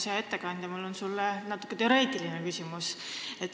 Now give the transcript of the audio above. Hea ettekandja, mul on sulle natuke teoreetiline küsimus.